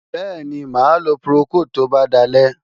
Bẹ́ẹ̀ni, mà á lo Procold tó bá dalẹ́.